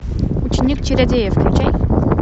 ученик чародея включай